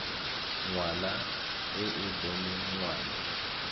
ngwana e e boneng ngwana